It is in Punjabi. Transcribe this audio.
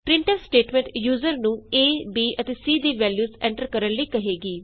ਪ੍ਰਿੰਟਫ ਸਟੇਟਮੈਂਟ ਯੂਜ਼ਰ ਨੂੰ ਏ ਬੀ ਅਤੇ ਸੀ ਦੀ ਵੈਲਯੂਸ ਐਂਟਰ ਕਰਨ ਲਈ ਕਹੇਗੀ